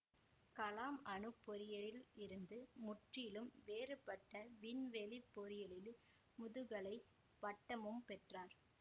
கலாம் அணுப் பொறியியலில் இருந்து முற்றிலும் வேறுபட்ட விண்வெளி பொறியியலில் முதுகலை பட்டமும் பெற்றார்